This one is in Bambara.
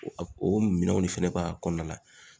O minɛnw ne fɛnɛ ba a kɔnɔna la.